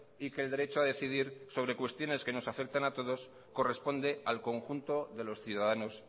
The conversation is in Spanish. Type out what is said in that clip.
y que el derecho a decidir sobre cuestiones que nos afectan a todos corresponde al conjunto de los ciudadanos